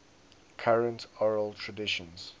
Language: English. current oral traditions